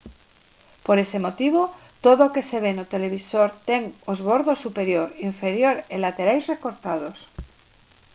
por ese motivo todo o que se ve no televisor ten os bordos superior inferior e laterais recortados